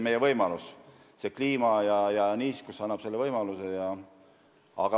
Meie kliima ja niiskus annab selleks võimaluse.